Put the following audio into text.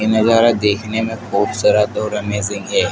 ये नजारा देखने में बहोत और अमेजिंग है।